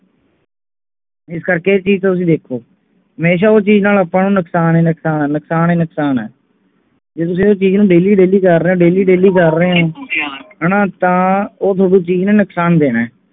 ਇਸ ਕਰਕੇ ਇਹ ਤਾਂ ਚੀਜ ਤੁਸੀਂ ਦੇਖੋ ਹਮੇਸ਼ਾ ਉਹ ਚੀਜ ਨਾਲ ਆਪਾਂ ਨੂੰ ਨੁਕਸਾਨ ਹੀ ਨੁਕਸਾਨ ਨੁਕਸਾਨ ਹੀ ਨੁਕਸਾਨ ਹੈ ਜੇ ਤੁਸੀਂ ਉਹ ਚੀਜ ਨੂੰ daily daily ਕਰ ਰਹੇ ਹੋ daily daily ਕਰ ਰਹੇ ਹੋ ਹਣਾ ਤਾਂ ਉਹ ਥੋਨੂੰ ਚੀਜ ਨੇ ਨੁਕਸਾਨ ਦੇਣਾ ਹੈ